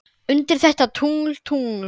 undir þetta tungl, tungl.